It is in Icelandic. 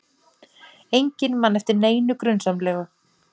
Enginn man eftir neinu grunsamlegu.